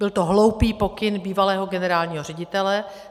Byl to hloupý pokyn bývalého generálního ředitele.